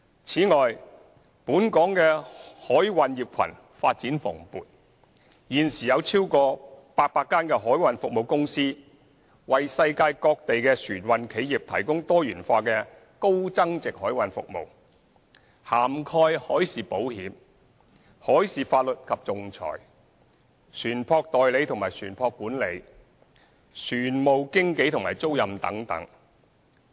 此外，本港的海運業群發展蓬勃，現時有超過800間海運服務公司，為世界各地的船運企業提供多元化的高增值海運服務，涵蓋海事保險、海事法律及仲裁、船務代理和船舶管理、船務經紀及租賃等。